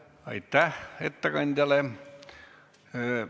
Aitäh ettekandjale!